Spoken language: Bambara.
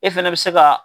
E fɛnɛ bɛ se ka